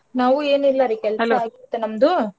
ನಾವು ಏನ್ ಇಲ್ಲಾರಿ ಆಯ್ತು ನಮ್ದೂ.